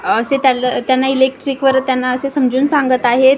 असे त्यांन त्यांना इलेक्ट्रिक वर त्यांना असे समजून सांगत आहेत.